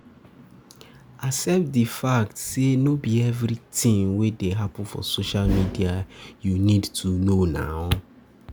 Accept di fact sey no be everything wey dey happen for social media you need to know.